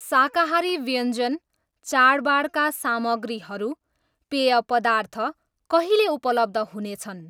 शाकाहारी व्यञ्जन, चाडबाडका सामग्रीहरू, पेय पदार्थ कहिले उपलब्ध हुनेछन्?